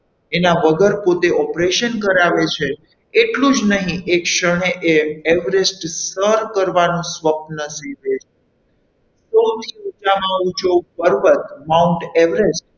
એના વગર પોતે operation કરાવે છે એટલું જ નહીં એક ક્ષણે એ Everest સર કરવાનું સ્વપન સીવે છે સૌથી ઊંચામાં ઊંચો પર્વત Mount Everest